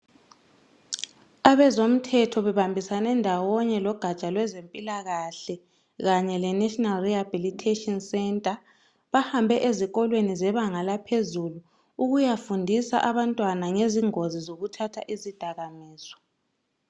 Abezomthetho bebambisane ndawonye logaja lwezempilakahle kanye le National Rehabilitation Centre, bahambe ezikolweni zebanga laphezulu ukuyafundisa abantwana ngezingozi zokuthatha izidakamizwa.